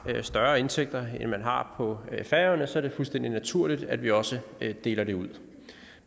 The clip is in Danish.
større indtægter end man har på færøerne så er det fuldstændig naturligt at vi også deler det ud